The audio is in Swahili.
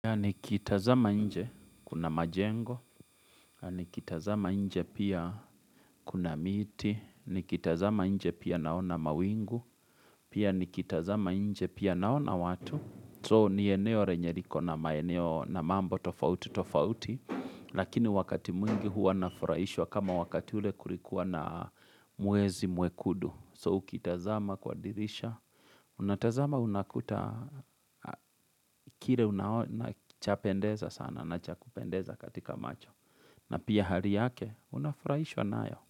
Ni kitazama nje kuna majengo, ni kitazama nje pia kuna miti, ni kitazama nje pia naona mawingu, pia ni kitazama nje pia naona watu. So ni eneo renye riko na maeneo na mambo tofauti tofauti, lakini wakati mwingi hua nafurahishwa kama wakati ule kulikuwa na mwezi muwekudu. So ukitazama kwa dirisha Unatazama unakuta kire unachapendeza sana na chakupendeza katika macho na pia hari yake unafurahishwa nayo.